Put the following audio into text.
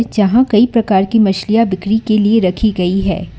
यहां कई प्रकार की मछलियां बिक्री के लिए रखी गई है।